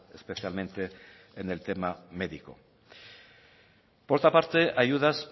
especialmente en el tema médico por otra parte ayudas